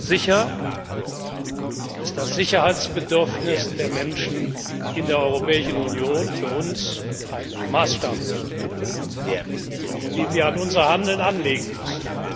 Sicher ist das Sicherheitsbedürfnis der Menschen in der Europäischen Union für uns ein Maßstab, den wir an unser Handeln anlegen müssen.